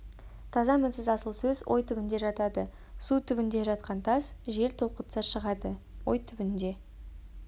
таза мінсіз асыл сөз ой түбінде жатады су түбінде жатқан тас жел толқытса шығады ой түбінде